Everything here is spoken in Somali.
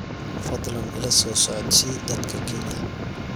fadlan ila soo socodsii dadka kenya